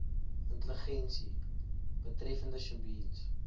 intelligensie betreffende sjebiens